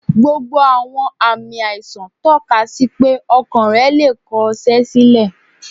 Gbogbo àwọn ààmì àìsàn tọ́ka sí pé Ọkàn rẹ̀ le è kọ ṣẹ́ sílẹ̀.